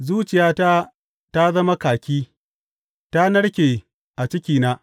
Zuciyata ta zama kaki; ta narke a cikina.